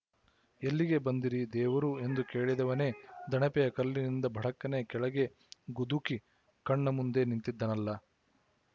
ಎಲ್ಲಿಗೆ ಬಂದಿರಿ ದೇವರೂ ಎಂದು ಕೇಳಿದವನೇ ದಣಪೆಯ ಕಲ್ಲಿನಿಂದ ಭಡಕ್ಕನೆ ಕೆಳಗೆ ಗುದುಕಿ ಕಣ್ಣಮುಂದೇ ನಿಂತಿದ್ದನಲ್ಲ